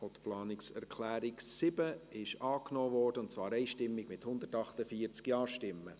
Sie haben die Planungserklärung 7 einstimmig angenommen, mit 148 Ja- gegen 0 NeinStimmen bei 0 Enthaltungen.